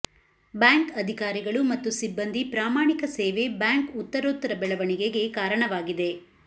bank ಅಧಿಕಾರಿಗಳು ಮತ್ತು ಸಿಬ್ಬಂದಿ ಪ್ರಾಮಾಣಿಕ ಸೇವೆ ಬ್ಯಾಂಕ್ ಉತ್ತರೋತ್ತರ ಬೆಳವಣಿಗೆಗೆ ಕಾರಣವಾಗಿದೆ